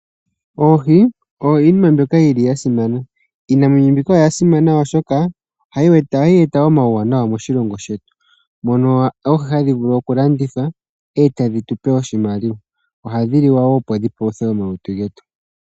Oohi oyo iinima mbyoka yi li ya simana. Iinamwenyo mbika oya simana, oshoka oha yi eta omauwanawa moshilongo shetu, mono oohi ha dhi vulu oku landithwa, e ta dhi tu pe oshimaliwa. Oha dhi liwa wo , opo dhi paluthe omalutu getu.